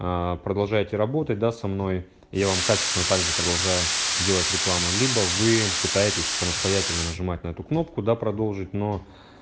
аа продолжайте работать да со мнойи я вам качественно также продолжаю делать рекламу либо вы пытаетесь самостоятельно нажимать на эту кнопку да продолжить но